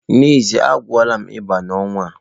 N'ezie, a gwọọla m ịba n'ọnwa a.